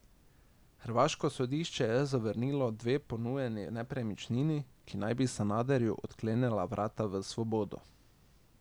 Hrvaško sodišče je zavrnilo dve ponujeni nepremičnini, ki naj bi Sanaderju odklenila vrata v svobodo.